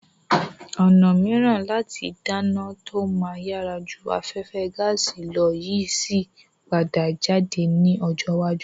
Ọ̀nà mìíràn láti dáná tó máa yàrá ju afẹ́fẹ́ gaàsì lọ yìí síí padà jáde ní ọjọ́ iwájú.